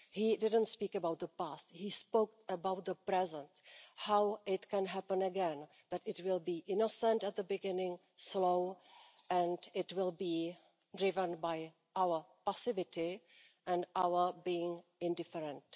He didn't speak about the past, he spoke about the present. How it can happen again. That it will be innocent at the beginning, slow and it will be driven by our passivity and our being indifferent.